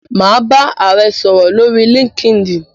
Mà á bá ààrẹ sòrò lórí Linkedin.